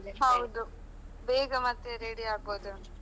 ಹೌದು ಬೇಗಾ ಮತ್ತೆ ready ಆಗ್ಬಹುದು.